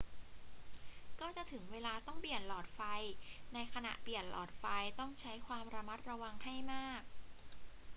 ก็จะถึงเวลาต้องเปลี่ยนหลอดไฟ ในขณะเปลี่ยนหลอดไฟต้องใช้ความระมัดระวังให้มาก